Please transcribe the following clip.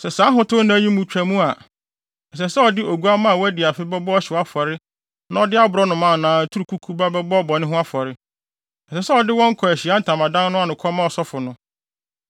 “ ‘Sɛ saa ahotew nna yi twa mu a, ɛsɛ sɛ ɔde oguamma a wadi afe bɛbɔ ɔhyew afɔre na ɔde aborɔnoma anaa aturukuku ba bɛbɔ bɔne ho afɔre. Ɛsɛ sɛ ɔde wɔn kɔ Ahyiae Ntamadan no ano kɔma ɔsɔfo no.